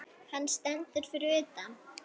Hann stendur fyrir utan.